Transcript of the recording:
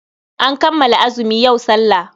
An kammala azumi, yau sallah.